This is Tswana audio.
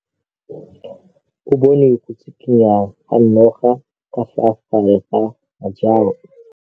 O bone go tshikinya ga noga ka fa gare ga majang.